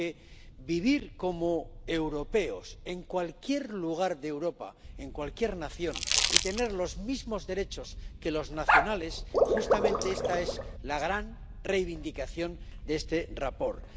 Porque vivir como europeos en cualquier lugar de Europa, en cualquier nación, y tener los mismos derechos que los nacionales, justamente esta es la gran reivindicación de este informe.